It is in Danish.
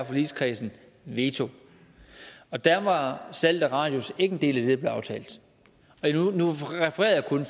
forligskredsen har veto og der var salget af radius ikke en del af det der blev aftalt nu refererer jeg kun